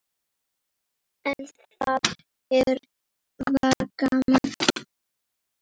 En það var gaman.